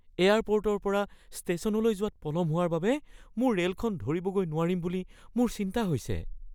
এয়াৰপৰ্টৰ পৰা ষ্টেচনলৈ যোৱাত পলম হোৱাৰ বাবে মোৰ ৰে'লখন ধৰিবগৈ নোৱাৰিম বুলি মোৰ চিন্তা হৈছে।